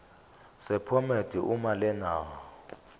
sephomedi uma lena